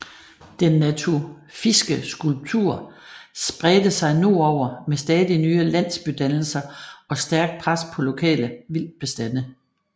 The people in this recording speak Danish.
Den natufiske kultur spredte sig nordover med stadig nye landsbydannelser og stærkt pres på lokale vildtbestande